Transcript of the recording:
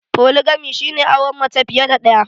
Foligami shi ne auren mace fiye da ɗaya